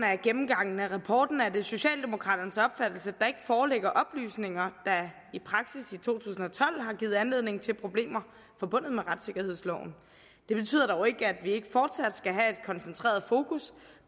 af gennemgangen af rapporten er det socialdemokraternes opfattelse at der ikke foreligger oplysninger der i praksis i to tusind og tolv har givet anledning til problemer forbundet med retssikkerhedsloven det betyder dog ikke at vi ikke fortsat skal have et koncentreret fokus